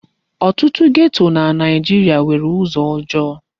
Ọtụtụ geto na Naijiria nwere ụzọ ọjọọ.